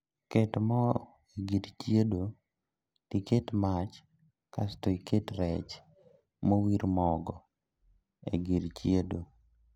Ket moo e gir chiedo tiket mach kasto iket rech mowir mogo e gir chiedo